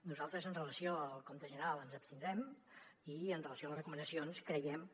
nosaltres amb relació al compte general ens abstindrem i amb relació a les recomanacions creiem que